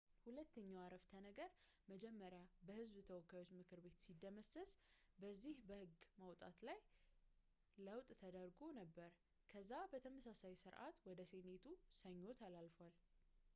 ሁለተኛው ዓረፍተነገር መጀመሪያ በህዝብ ተወካዮች ምክር ቤት ሲደመሰስ በዚህ በህግ ማውጣት ጊዜ ላይ ለውጥ ተደርጎ ነበር ከዛ በተመሳሳይ ስርዓት ወደ ሴኔቱ ሰኞ ተላልፏል